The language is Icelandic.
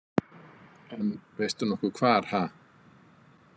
En veistu nokkuð hvar ha